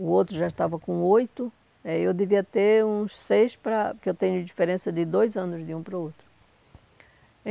o outro já estava com oito, é, eu devia ter uns seis para, porque eu tenho diferença de dois anos de um para o outro.